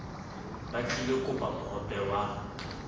ba tlilo kopa mohope wa